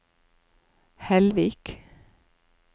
Hellvik